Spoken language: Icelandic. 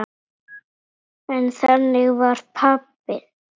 En þannig vann pabbi.